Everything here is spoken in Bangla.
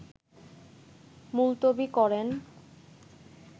মুলতবি করেন